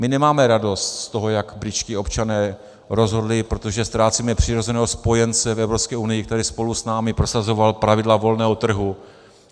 My nemáme radost z toho, jak britští občané rozhodli, protože ztrácíme přirozeného spojence v Evropské unii, který spolu s námi prosazoval pravidla volného trhu.